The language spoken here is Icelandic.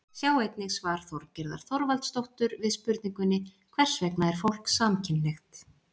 Sjá einnig svar Þorgerðar Þorvaldsdóttur við spurningunni Hversvegna er fólk samkynhneigt?